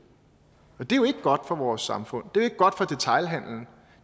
og det er jo ikke godt for vores samfund det er ikke godt for detailhandelen